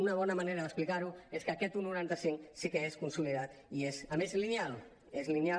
una bona manera d’explicar ho és que aquest un coma noranta cinc sí que és consolidat i és a més lineal és lineal